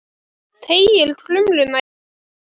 Teygir krumlurnar í áttina til hennar.